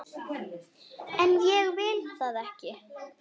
En ég vil það ekki.